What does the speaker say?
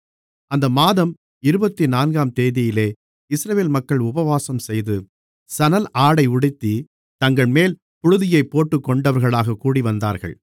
அந்த மாதம் இருபத்துநான்காம் தேதியிலே இஸ்ரவேல் மக்கள் உபவாசம்செய்து சணல் ஆடை உடுத்தி தங்கள்மேல் புழுதியைப் போட்டுக்கொண்டவர்களாகக் கூடிவந்தார்கள்